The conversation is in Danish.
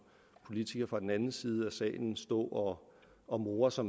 politiker fra den anden side af salen stå og more sig